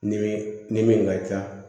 Ni min ni min ka ca